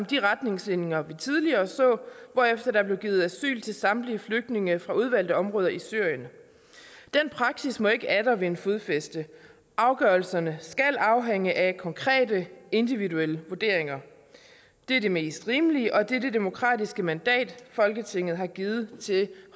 de retningslinjer vi tidligere så hvorefter der blev givet asyl til samtlige flygtninge fra udvalgte områder i syrien den praksis må ikke atter vinde fodfæste afgørelserne skal afhænge af konkrete individuelle vurderinger det er det mest rimelige og det er det demokratiske mandat folketinget har givet til